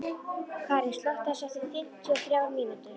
Karín, slökktu á þessu eftir fimmtíu og þrjár mínútur.